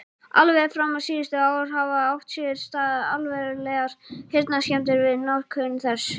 Alveg fram á síðustu ár hafa átt sér stað alvarlegar heyrnarskemmdir við notkun þess.